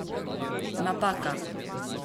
Napaka!